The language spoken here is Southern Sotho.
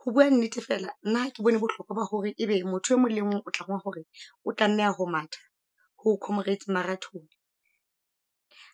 Ho bua nnete fela, nna ke bone bohloko ba hore ebe motho e mong le mong o tlangwa hore, o tlameha ho matha. Ho Comrades Marathon,